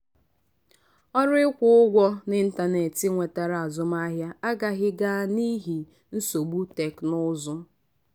ọrụ ịkwụ ụgwọ n'ịntanetị nwetara azụmahịa agaghị ga n'ihi nsogbu teknụzụ.